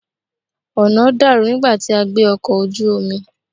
Ọ̀nà dàrú nígbà tí a gbé ọkọ̀ ojú omi.